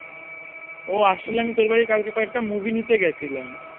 ও আসলে আমি তোর বাড়ি কালকে কয়েকটা movie নিতে গেছিলাম